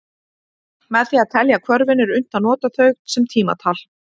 Með því að telja hvörfin er unnt að nota þau sem tímatal.